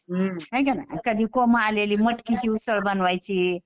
हाय का नाही कधी कोंब आलेली मटकीची उसळ बनवायची